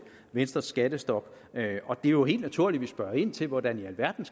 venstres skattestop det er jo helt naturligt at vi spørger ind til hvordan i alverden